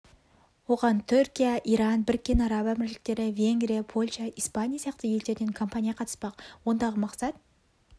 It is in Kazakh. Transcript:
оған түркия иран біріккен араб әмірліктері венгрия польша испания сияқты елдерден компания қатыспақ ондағы мақсат